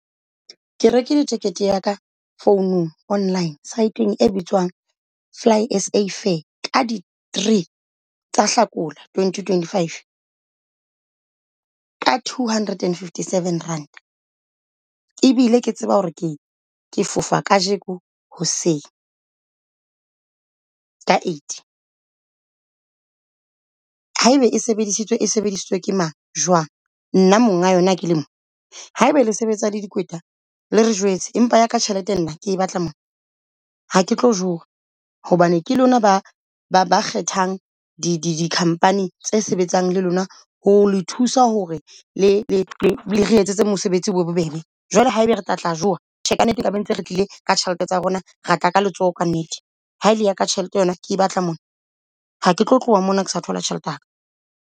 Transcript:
Ke rekile ticket ya ka founung online site-eng e bitswang FlySA fair ka di-three tsa Hlakola Twenty twenty five, ka two hundred and fifty seven rand. E bile ke tseba hore ke ke fofa kajeko hoseng ka eight haebe e sebedisitswe e sebedisitswe ke mang jwang? Nna monga monga kele mo. Haeba le sebetsa le dikweta, le re jwetse empa ya ka tjhelete nna ke batla mona. Ha ke tlo jowa hobane ke lona ba kgethang di company tse sebetsang le lona ho le thusa hore le re etsetse mosebetsi o be o be bobebe Jwale haebe re tla tla joa tjhe ka nnete ba ntse re tlile ka tjhelete tsa rona. Ra tla ka letsoho ka nnete ha ele ya ka tjhelete yona ke batla mona. Ha ke tlo tloha mona, ke sa thola tjhelete yaka.